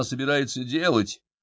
а собирается делать